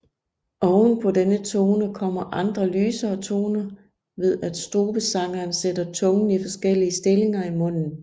Ovenpå denne tone kommer andre lysere toner ved at strubesangeren sætter tungen i forskellige stillinger i munden